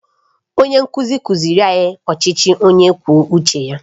Onye nkuzi kụziiri anyị ọchịchị onye kwuo uche ya?